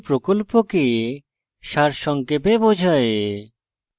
এটি প্রকল্পকে সারসংক্ষেপে বোঝায়